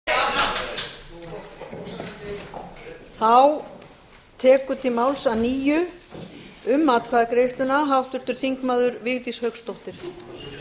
virðulegi forseti ég vissi það nú ekki að samkvæmt þingsköpum mætti koma tvisvar upp í atkvæðaskýringu en nú hefur hæstvirtur forsætisráðherra brotið hér blað í